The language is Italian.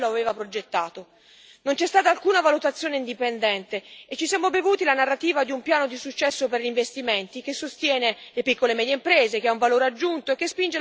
Non c'è stata alcuna valutazione indipendente e ci siamo bevuti la narrativa di un piano di successo per gli investimenti che sostiene le piccole e medie imprese, che ha un valore aggiunto e che spinge la crescita e l'occupazione.